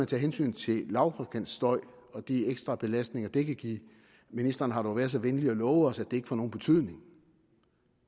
tage hensyn til lavfrekvent støj og de ekstra belastninger det kan give ministeren har dog været så venlig at love os at det ikke får nogen betydning